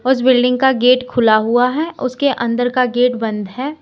उस बिल्डिंग का गेट खुला हुआ है उसके अंदर का गेट बंद है।